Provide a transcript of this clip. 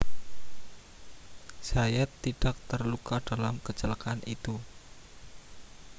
zayat tidak terluka dalam kecelakaan itu